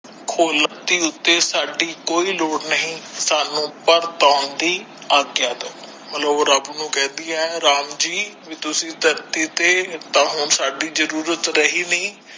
ਖਲੋਤੀ ਉਥੇ ਸਾਡੀ ਕੋਈ ਲੋੜ ਨਹੀ ਸਾਨੂ ਪੜਤੋਨ ਦੀ ਅੱਗਯਾ ਦੋ ਰਬ ਨੂੰ ਕਹਿੰਦੀ ਹੈ ਰਾਮ ਜੀ ਵੀ ਤੁਸੀਂ ਧਰਤੀ ਤੇ ਤਾ ਹੁਣ ਸਾਡੀ ਜੁਰਅੱਤ ਰਹੀ ਨੀ